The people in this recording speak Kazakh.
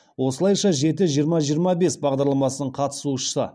осылайша жеті жиырма жиырма бес бағдарламасының қатысушысы